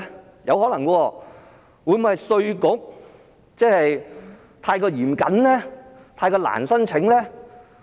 會否可能是稅局過於嚴謹，太難申請呢？